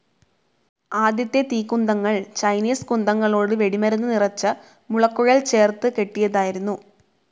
ആദ്യത്തെ തീക്കുന്തങ്ങൾ ചൈനീസ് കുന്തങ്ങളോട് വെടിമരുന്ന് നിറച്ച മുളക്കുഴൽ ചേർത്ത് കെട്ടിയതായിരുന്നു.